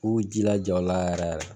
U y'u jilaja o la yɛrɛ yɛrɛ.